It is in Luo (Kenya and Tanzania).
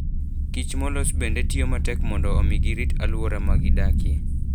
Kich molos bende tiyo matek mondo omi girit alwora ma gidakie.